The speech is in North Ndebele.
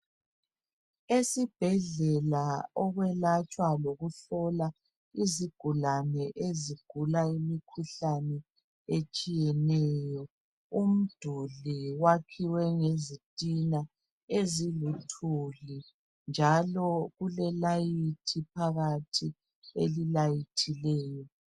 Esibhedlela okwelatshwa lokuhlolwa izigulane ezigula imkhuhlane etshiyeneyo. Umduli wakhiwe ngezitina eziluthuli njalo kule layithi phakathi eli layithileyo.